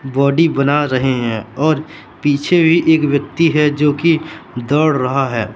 Body बना रहे है और पीछे भी एक व्यक्ति है जो कि दोड रहा है।